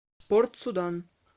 порт судан